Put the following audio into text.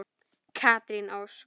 Katrín Ósk.